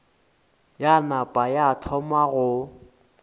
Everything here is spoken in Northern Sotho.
ya napa ya thoma go